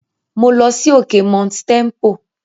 Mo lọ sí òkè Mount Tempo last month.